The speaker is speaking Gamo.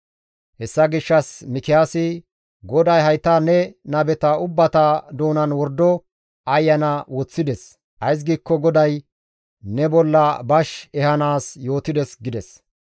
Hessa gishshas Mikiyaasi, «GODAY hayta ne nabeta ubbata doonan wordo ayana woththides; ays giikko GODAY ne bolla bash ehanaas yootides» gides.